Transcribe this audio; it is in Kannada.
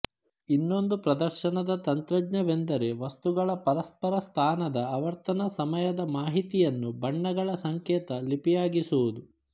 ಇನ್ನೊಂದು ಪ್ರದರ್ಶನದ ತಂತ್ರಜ್ಞವೆಂದರೆ ವಸ್ತುಗಳ ಪರಸ್ಪರ ಸ್ಥಾನದ ಆವರ್ತನಸಮಯದ ಮಾಹಿತಿಯನ್ನು ಬಣ್ಣಗಳ ಸಂಕೇತ ಲಿಪಿಯಾಗಿಸುವುದು